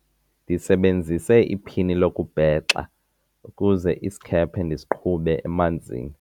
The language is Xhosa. ndisebenzise iphini lokubhexa ukuze isikhephe ndisiqhube emanzini